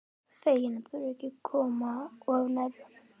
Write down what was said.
Fegin að þurfa ekki að koma of nærri honum.